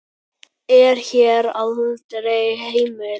er hér aldrei heimil.